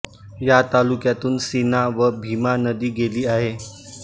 या तालुक्यातून सीना व भीमा नदी गेली आहे